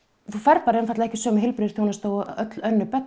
þú færð ekki sömu heilbrigðisþjónustu og öll önnur börn